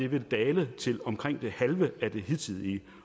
vil dale til omkring det halve af det hidtige